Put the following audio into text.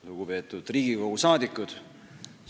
Lugupeetud Riigikogu liikmed!